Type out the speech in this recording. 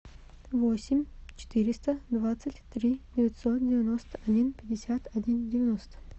восемь четыреста двадцать три девятьсот девяносто один пятьдесят один девяносто